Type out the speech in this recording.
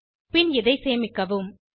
பின் இதை சேமிக்கவும்